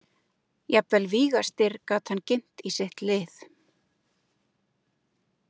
Jafnvel Víga- Styrr gat hann ginnt í sitt lið.